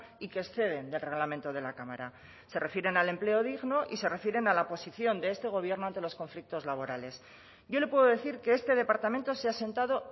y que exceden del reglamento de la cámara se refieren al empleo digno y se refieren a la posición de este gobierno ante los conflictos laborales yo le puedo decir que este departamento se ha sentado